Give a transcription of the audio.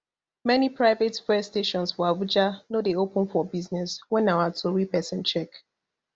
many private fuel stations for abuja no dey open for business wen our tori pesin check